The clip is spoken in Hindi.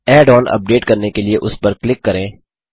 ऐड ऑन अपडेट करने के लिए उस पर क्लिक करें